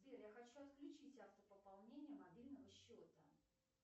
сбер я хочу отключить автопополнение мобильного счета